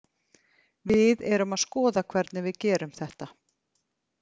Við erum að skoða hvernig við gerum þetta.